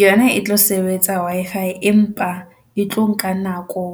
Yona e tlo sebetsa Wi-Fi empa e tlo nka nako